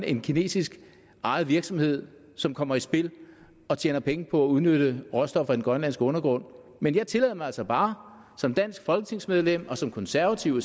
en kinesisk ejet virksomhed som kommer i spil og tjener penge på at udnytte råstoffer i den grønlandske undergrund men jeg tillader mig altså bare som dansk folketingsmedlem og som konservativ